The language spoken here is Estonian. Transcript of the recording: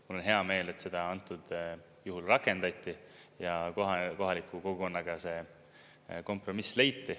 Mul on hea meel, et seda antud juhul rakendati ja kohe kohaliku kogukonnaga see kompromiss leiti.